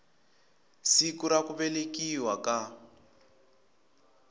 siku ra ku velekiwa ka